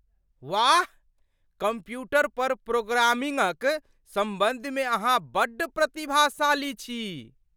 वाह! कम्प्यूटर पर प्रोग्रामिंगक सम्बन्ध मे अहाँ बड्ड प्रतिभाशाली छी।